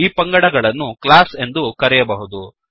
ಈ ಪಂಗಡಗಳನ್ನು ಕ್ಲಾಸ್ ಎಂದು ಕರೆಯಬಹುದು